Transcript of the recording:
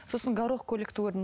сосын горох көйлекті көрдім